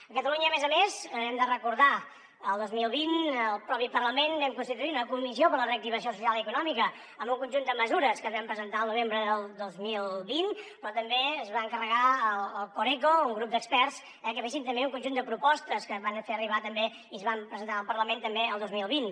a catalunya a més a més hem de recordar que el dos mil vint al propi parlament vam constituir una comissió per a la reactivació social i econòmica amb un conjunt de mesures que vam presentar el novembre del dos mil vint però també es va encarregar al coreco un grup d’experts que fessin també un conjunt de propostes que van fer arribar i es van presentar al parlament també el dos mil vint